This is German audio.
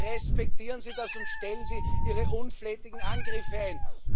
Bitte respektieren Sie das und stellen Sie Ihre unflätigen Angriffe ein!